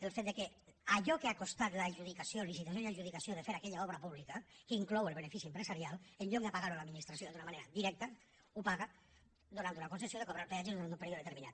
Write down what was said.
el fet que allò que ha costat l’adjudicació licitació i adjudicació de fer aquella obra pública que inclou el benefici empresarial en lloc de pagar ho l’administració d’una manera directa ho paga donant una concessió i de cobrar el peatge durant un període determinat